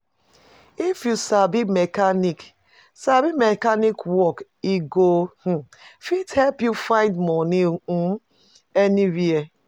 If you sabi mechanic sabi mechanic work, e go um fit help you find money um anywhere.